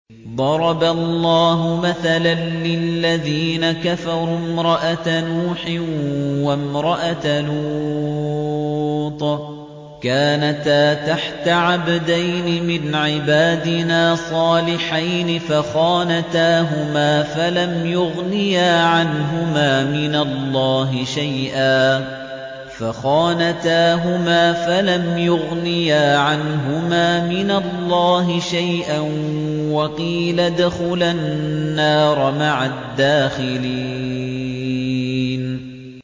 ضَرَبَ اللَّهُ مَثَلًا لِّلَّذِينَ كَفَرُوا امْرَأَتَ نُوحٍ وَامْرَأَتَ لُوطٍ ۖ كَانَتَا تَحْتَ عَبْدَيْنِ مِنْ عِبَادِنَا صَالِحَيْنِ فَخَانَتَاهُمَا فَلَمْ يُغْنِيَا عَنْهُمَا مِنَ اللَّهِ شَيْئًا وَقِيلَ ادْخُلَا النَّارَ مَعَ الدَّاخِلِينَ